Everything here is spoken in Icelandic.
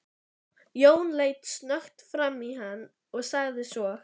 Jón leit snöggt framan í hann og sagði svo